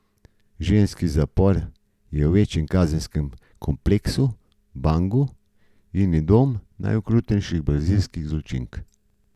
Ženski zapor je v večjem kazenskem kompleksu Bangu in je dom najokrutnejših brazilskih zločink.